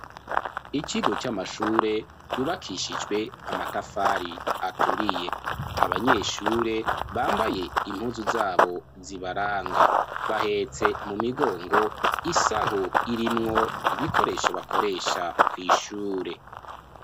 Ikigo c'amashure, yubakishijwe, amatafari aturiye; abanyeshure, bambaye impuzu zabo, zibaranga; bahetse mu migongo, isaho, irimwo ibikoresho, bakoresha kw'ishure.